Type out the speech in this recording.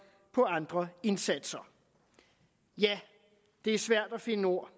på andre indsatser ja det er svært at finde ord